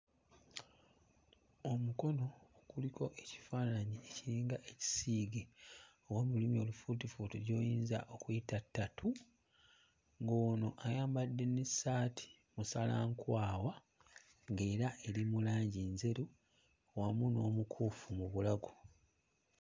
Omukono kuliko ekifaananyi ekiringa ekisiige, oba mu lulimi olufuutifuuti gy'oyinza okuyita tattoo, ng'ono ayambadde n'essaati musala nkwawa ng'era eri mu langi njeru wamu n'omukuufu mu bulago.